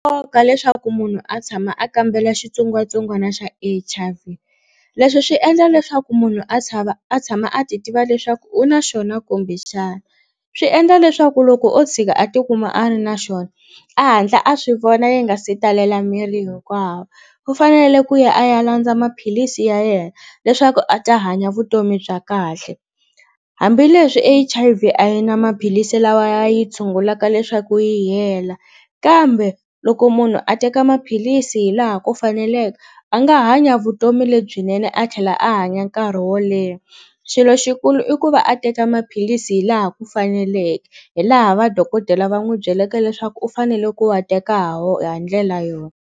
leswaku munhu a tshama a kambela xitsongwatsongwana xa H_I_V leswi swi endla leswaku munhu a tshava a tshama a ti tiva leswaku u na xona kumbe xana swi endla leswaku loko o tshika a tikuma a ri na xona a hatla a swi vona yi nga se talela miri hinkwawo ku fanele ku ya a ya landza maphilisi ya yena leswaku a ta hanya vutomi bya kahle hambileswi H_I_V a yi na maphilisi lawa ya yi tshungulaka leswaku yi hela kambe loko munhu a teka maphilisi hilaha ku faneleke a nga hanya vutomi lebyinene a tlhela a hanya nkarhi wo leha xilo xikulu i ku va a teka maphilisi hi laha ku faneleke hi laha va dokodela va n'wi byeleke leswaku u fanele ku wa teka ha wo ha ndlela yona.